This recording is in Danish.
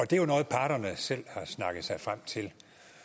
det er noget parterne selv har snakket sig frem til